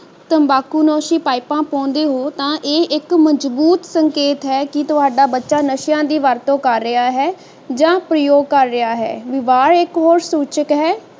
ਤੰਬਾਕੂ ਨੋਸ਼ੀ ਪਾਈਪਾਂ ਪਾਉਂਦੇ ਹੋ ਤਾਂ ਇਹ ਇਕ ਮਜਬੂਤ ਸੰਕੇਤ ਹੈ ਕਿ ਤੁਹਾਡਾ ਬੱਚਾ ਨਸ਼ਿਆਂ ਦੀ ਵਰਤੋਂ ਕਰ ਰਿਹਾ ਹੈ ਜਾਂ ਪ੍ਰਯੋਗ ਕਰ ਰਿਹਾ ਹੈ ਵਿਵਹਾਰ ਇਕ ਹੋਰ ਸੂਚਕ ਹੈ